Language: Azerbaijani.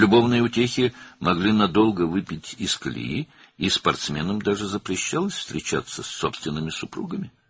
Sevgi əyləncələri uzun müddət güclərini tükəndirə bilərdi və idmançılara hətta öz həyat yoldaşları ilə görüşmək qadağan edilmişdi.